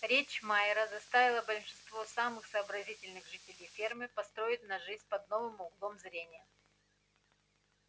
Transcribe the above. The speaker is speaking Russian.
речь майера заставила большинство самых сообразительных жителей фермы посмотреть на жизнь под новым углом зрения